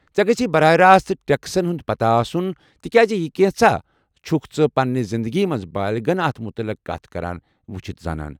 ژےٚ گژھی براہ راست ٹیكسن ہُند پتاہ آسُن تِکیازِ یہِ كینژھا چھُكھ ژٕ پننہِ زِندگی منز بٲلغن اتھ مُتعلق كتھ كران وُچھِتھ زانان۔